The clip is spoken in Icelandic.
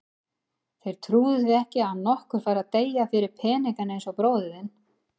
Þeir trúðu því ekki að nokkur færi að deyja fyrir peninga eins og bróðir þinn.